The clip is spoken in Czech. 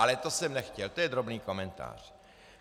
Ale to jsem nechtěl, to je drobný komentář.